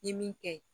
Ye min kɛ